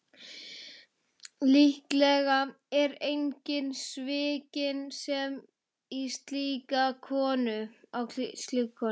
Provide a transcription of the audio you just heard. Líklega er enginn svikinn sem á slíka konu.